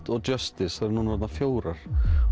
og Justice þær eru orðnar fjórar